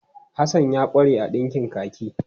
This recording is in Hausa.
Hasan ya ƙware a ɗinkin kaki.